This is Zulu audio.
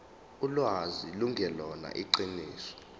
ulwazi lungelona iqiniso